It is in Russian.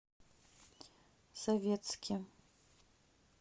советске